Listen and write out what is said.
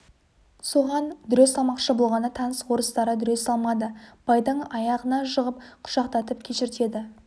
соған дүре салмақшы болғанда таныс орыстары дүре салмады байдың аяғына жығып құшақтатып кешіртеді